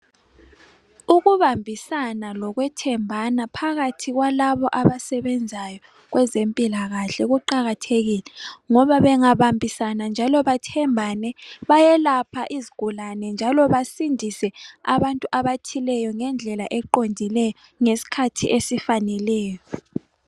Ukubambisana lokwethembana phakathi kwalaba abasebenzayo kwezempilakahle kuqakathekile ngoba bengabambisana njalo bathembane, bayelapha izigulane njalo basindise abantu abathileyo ngendlela eqondileyo, ngesikhathi esifaneleyo.